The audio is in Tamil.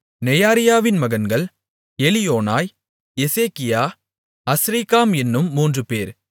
நெயாரியாவின் மகன்கள் எலியோனாய் எசேக்கியா அஸ்ரிக்காம் என்னும் மூன்றுபேர்